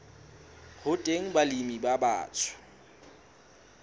ho teng balemi ba batsho